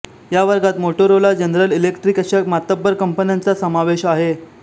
या वर्गात Motorola General Electric अशा मातब्बर कंपन्यांचा समावेश आहे